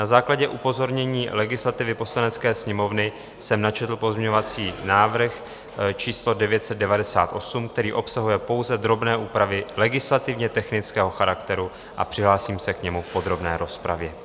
Na základě upozornění legislativy Poslanecké sněmovny jsem načetl pozměňovací návrh číslo 998, který obsahuje pouze drobné úpravy legislativně technického charakteru, a přihlásím se k němu v podrobné rozpravě.